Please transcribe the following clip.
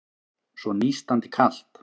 Svo nístandi kalt.